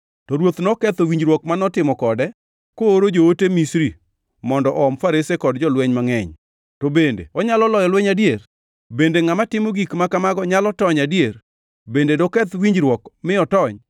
To ruoth noketho winjruok ma notimo kode kooro joote Misri mondo oom farese kod jolweny mangʼeny. To bende onyalo loyo lweny adier? Bende ngʼama timo gik ma kamago nyalo tony adier? Bende doketh winjruok mi otony?